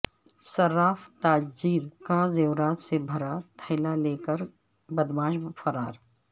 صراف تاجر کا زیورات سے بھرا تھیلا لے کر بد معاش فرار